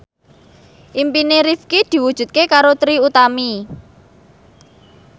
impine Rifqi diwujudke karo Trie Utami